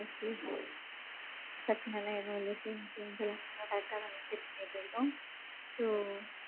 Insurance பிரச்சனை எல்லாம் எதுவும் இல்ல sir. Insurance எல்லாம் correct டா தான் check பன்னிட்டு இருக்கோம். so,